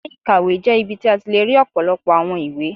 Ilé-ìkàwé jẹ́ ibi tí a ti le rí lọpọlọpọ àwọn ìwé